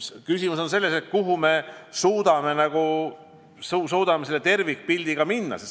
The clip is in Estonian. Küsimus on selles, kuidas me suudame seda tervikpilti luua.